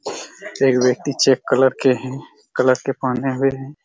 एक व्यक्ति check colour के हैं कलर के पहने हुए हैं।